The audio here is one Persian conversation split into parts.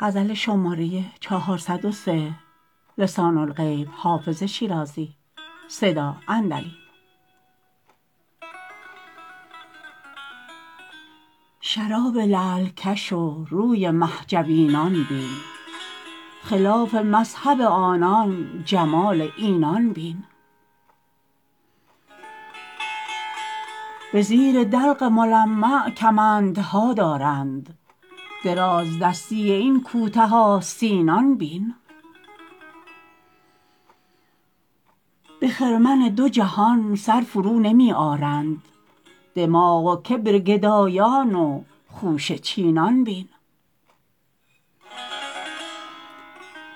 شراب لعل کش و روی مه جبینان بین خلاف مذهب آنان جمال اینان بین به زیر دلق ملمع کمندها دارند درازدستی این کوته آستینان بین به خرمن دو جهان سر فرونمی آرند دماغ و کبر گدایان و خوشه چینان بین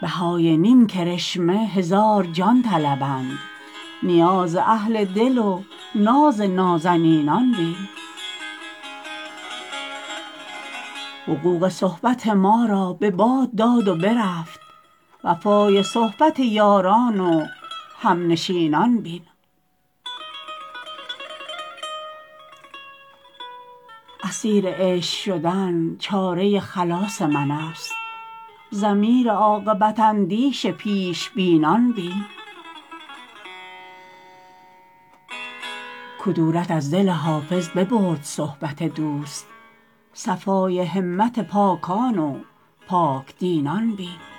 بهای نیم کرشمه هزار جان طلبند نیاز اهل دل و ناز نازنینان بین حقوق صحبت ما را به باد داد و برفت وفای صحبت یاران و همنشینان بین اسیر عشق شدن چاره خلاص من است ضمیر عاقبت اندیش پیش بینان بین کدورت از دل حافظ ببرد صحبت دوست صفای همت پاکان و پاک دینان بین